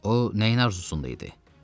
O nəyin arzusunda idi?